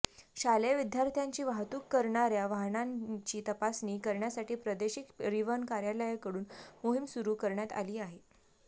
शालेय विद्यार्थ्यांची वाहतूक करणाऱ्या वाहनांची तपासणी करण्यासाठी प्रादेशिक परिवहन कार्यालयाकडून मोहीम सुरू करण्यात आली आहे